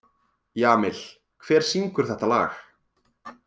Jamil, hver syngur þetta lag?